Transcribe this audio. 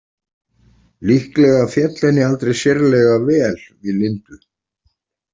Líklega féll henni aldrei sérlega vel við Lindu.